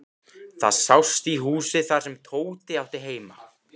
Það sást í húsið þar sem Tóti átti heima.